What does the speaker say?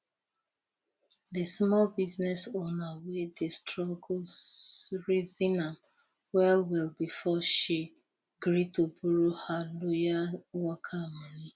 the small business owner wey dey struggle reason am well well before she gree to borrow her loyal worker money